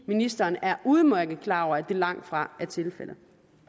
ministeren er udmærket klar over at det langtfra er tilfældet